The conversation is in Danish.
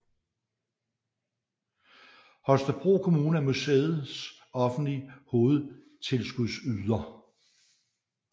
Holstebro Kommune er museets offentlige hovedtilskudsyder